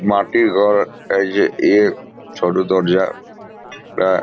মাটির ঘর এ-ই-যে এ-এ সরু দরজা এ --